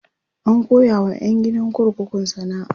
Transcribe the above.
an koya wa ƴan gidan kurkukun sana'a